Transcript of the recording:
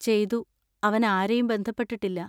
ചെയ്തു, അവൻ ആരെയും ബന്ധപ്പെട്ടിട്ടില്ല.